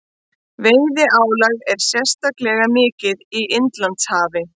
Veiðiálagið er sérstaklega mikið í Indlandshafi.